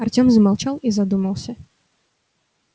артём замолчал и задумался